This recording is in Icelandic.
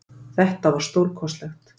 Þetta var stórkostlegt